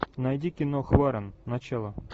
найди кино хваран начало